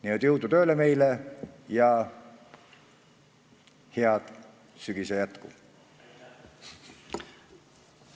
Nii et jõudu tööle meile ja head sügise jätku!